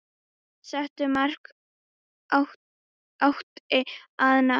Settu marki átti að ná.